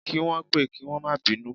Kí wọ́n pẹ́ kí wọ́n má bínú